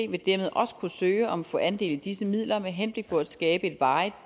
vil dermed også kunne søge om at få andel i disse midler med henblik på at skabe et varigt